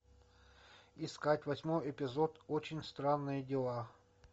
искать восьмой эпизод очень странные дела